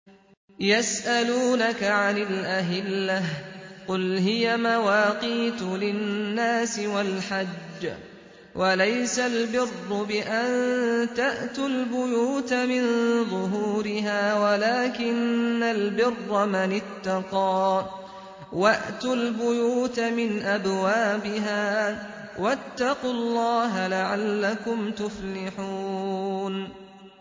۞ يَسْأَلُونَكَ عَنِ الْأَهِلَّةِ ۖ قُلْ هِيَ مَوَاقِيتُ لِلنَّاسِ وَالْحَجِّ ۗ وَلَيْسَ الْبِرُّ بِأَن تَأْتُوا الْبُيُوتَ مِن ظُهُورِهَا وَلَٰكِنَّ الْبِرَّ مَنِ اتَّقَىٰ ۗ وَأْتُوا الْبُيُوتَ مِنْ أَبْوَابِهَا ۚ وَاتَّقُوا اللَّهَ لَعَلَّكُمْ تُفْلِحُونَ